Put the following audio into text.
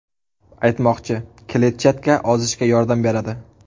Aytmoqchi, kletchatka ozishga yordam beradi.